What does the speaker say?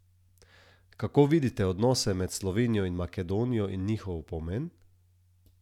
Kako vidite odnose med Slovenijo in Makedonijo in njihov pomen?